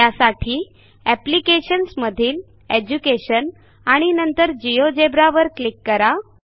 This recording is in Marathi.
त्यासाठी एप्लिकेशन्स मधीलEducation आणि नंतर जिओजेब्रा वर क्लिक करा